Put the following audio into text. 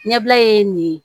Ɲɛbila ye nin ye